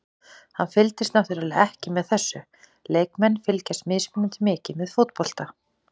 Hann fylgist náttúrulega ekki með þessu, leikmenn fylgjast mismunandi mikið með fótbolta.